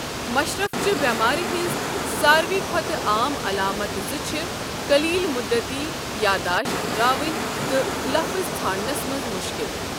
مَشرفٕچہِ بٮ۪مارِ ہٕنٛز ساروٕے کھۄتہٕ عام علامتہٕ زٕ چھِ قٔلیل مٗدتی یادداشت راوٗن تہٕ لفٕظ ژھانڈنس منز مُشكِل ۔